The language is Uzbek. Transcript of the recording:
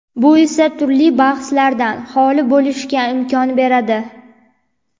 Bu esa turli bahslardan xoli bo‘lishga imkon beradi.